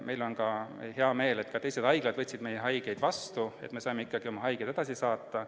Meil on hea meel, et ka teised haiglad võtsid meie haigeid vastu, nii et saime oma haigeid ikkagi edasi saata.